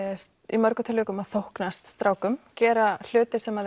í mörgum tilvikum að þóknast strákum gera hluti sem